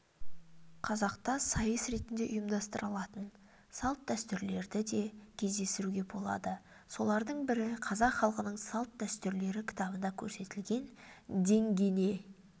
қазақта сайыс ретінде ұйымдастырылатын салт-дәстүрлерді де кездестіруге болады солардың бірі қазақ халқының салт-дәстүрлері кітабында көрсетілген деңгене